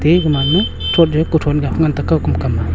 eg man ma kothon jau kothon ga pha ngan tega kau kamkam ma.